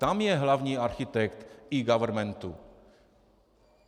Tam je hlavní architekt eGovernmentu.